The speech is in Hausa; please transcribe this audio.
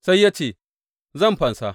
Sai ya ce, Zan fansa.